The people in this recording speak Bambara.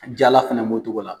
Jala fɛnɛ b'o cogo la.